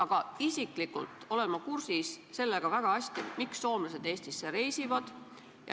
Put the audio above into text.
Aga isiklikult olen ma väga hästi kursis, miks soomlased Eestisse reisivad.